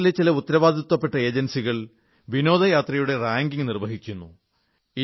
ലോകത്തിലെ ചില ഉത്തരവാദിത്വപ്പെട്ട ഏജൻസികൾ വിനോദയാത്രയുടെ റാങ്കിംഗ് നിർവ്വഹിക്കുന്നു